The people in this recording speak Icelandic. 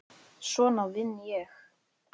Svona vinn ég.